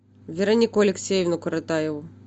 веронику алексеевну коротаеву